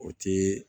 O ti